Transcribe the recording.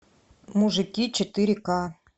мужики четыре ка